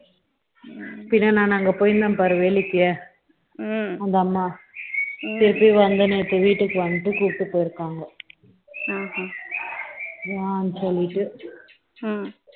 பின்ன நான் அங்க போயிருந்தேன் பாரு வேலைக்கு ம்ம அந்த அம்மா ம்ம திருப்பி வந்துன்னு இப்ப வீட்டுக்கு வந்துட்டு இப்ப கூப்பிட்டு போயிருக்காங்க ஆண் சொல்லிட்டு ம்ம